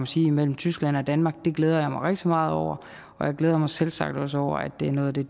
sige imellem tyskland og danmark og det glæder jeg mig rigtig meget over og jeg glæder mig selvsagt også over at det er noget af det